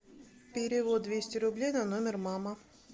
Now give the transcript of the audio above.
перевод двести рублей на номер мама